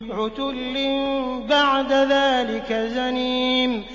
عُتُلٍّ بَعْدَ ذَٰلِكَ زَنِيمٍ